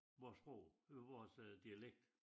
Vor sprog øh vores øh dialekt